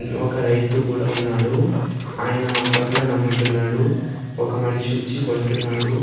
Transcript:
ఒక రైతు కూడా ఉన్నాడు ఆయన పండ్లను అమ్ముతున్నాడు ఒక మనిషి వచ్చి కొంటున్నాడు.